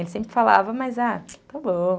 Ele sempre falava, mas está bom.